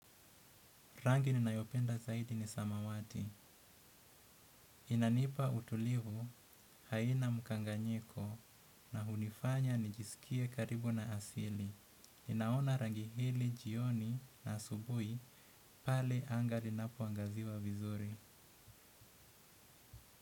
Rangi ninayopenda zaidi ni samawati. Inanipa utulivu haina mkanganyiko na hunifanya nijisikie karibu na asili. Ninaona rangi hili jioni na asubuhi pale anga linapoangaziwa vizuri.